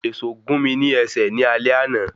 Èsó gún mi ní ẹsẹ̀ ní alé àna.